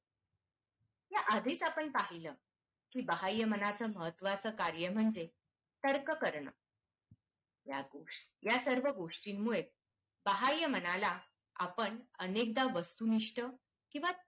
आधीच आपण पाहिलं कि बाहय मानाचं महत्वाचं कार्य म्हणजे तर्क करणे या सर्व गोष्टींमुळे बाहय मनाला आपण अनेकदा वस्तुनिष्ठ किंवा